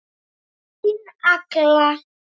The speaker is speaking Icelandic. Þín Agla.